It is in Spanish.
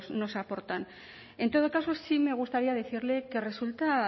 nos aportan en todo caso sí me gustaría decirle que resulta